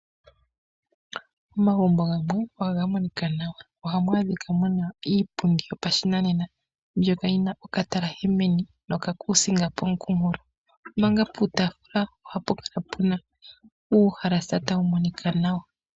Omagumbo gamwe ohaga monika nawa. Ohamu adhika muna iipundi yopashinanena mbyoka yi na okatalashe neni, nokakuusinga mooha. Omanga puutaafula oha pu kala pu na uuhalasa tawu monika nawa.